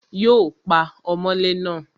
Yóò pa ọmọlé náà